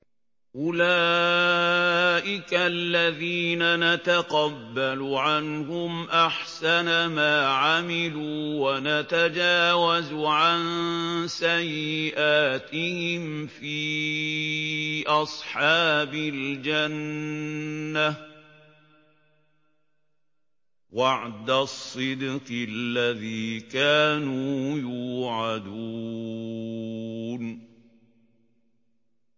أُولَٰئِكَ الَّذِينَ نَتَقَبَّلُ عَنْهُمْ أَحْسَنَ مَا عَمِلُوا وَنَتَجَاوَزُ عَن سَيِّئَاتِهِمْ فِي أَصْحَابِ الْجَنَّةِ ۖ وَعْدَ الصِّدْقِ الَّذِي كَانُوا يُوعَدُونَ